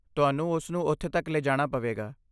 ਤੁਹਾਨੂੰ ਉਸ ਨੂੰ ਉੱਥੇ ਤੱਕ ਲਿਜਾਣਾ ਪਵੇਗਾ।